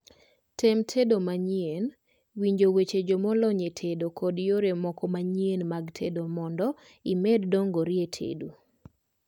tem tedo manyien, winjo weche joma olony e tedo kod yore moko manyien mag tedo mondo imed dongri e tedo